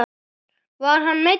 Var hann meiddur?